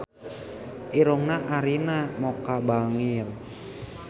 Irungna Arina Mocca bangir